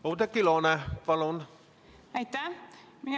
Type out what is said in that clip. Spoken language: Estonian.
Oudekki Loone, palun!